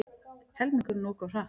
Helmingurinn ók of hratt